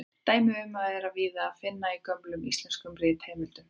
Dæmi um það er víða að finna í gömlum íslenskum ritheimildum.